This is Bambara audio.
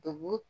Dɔnku